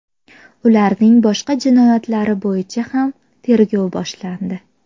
Ularning boshqa jinoyatlari bo‘yicha ham tergov boshlandi.